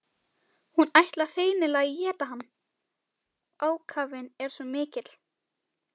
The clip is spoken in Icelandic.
Hún ætlar hreinlega að éta hann, ákafinn er svo mikill.